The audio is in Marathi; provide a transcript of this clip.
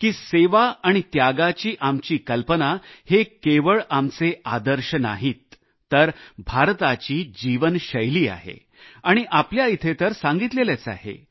की सेवा आणि त्यागाची आमची कल्पना हे केवळ आमचे आदर्श नाहीत तर भारताची जीवनशैली आहे आणि आपल्या येथे तर सांगितलेच आहे